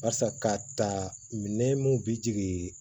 Barisa ka ta minɛ mun bi jigin